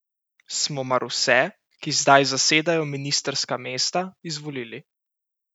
Smo mar vse, ki zdaj zasedajo ministrska mesta, izvolili?